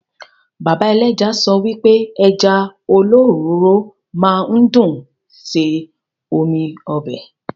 Bàbá ẹlẹ́ja sọ wipe Ẹja olóròóró máa ń dùn ṣe omi ọbẹ̀